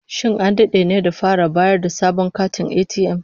Shin an dade ne da fara bayar da sabon katin ATM?